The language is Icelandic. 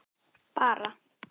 Bara